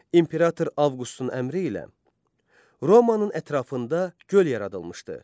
İmperator Avqustun əmri ilə Romanın ətrafında göl yaradılmışdı.